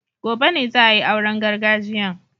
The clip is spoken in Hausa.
Gobe ne za a yi auren gargajiyan